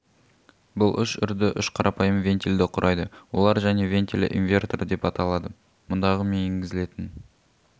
бұл үш үрді үш қарапайым вентильді құрайды олар және вентилі инвертор деп аталады мұндағы мен енгізілетін